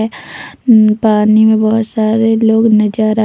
पानी में बहोत सारे लोग नजर आ--